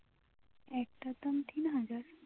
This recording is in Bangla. একটার দাম তিন হাজার